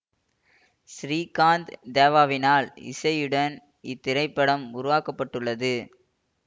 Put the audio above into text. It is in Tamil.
சிறீகாந்த் தேவாவினால் இசையுடன் இத்திரைப்படம் உருவாக்க பட்டுள்ளது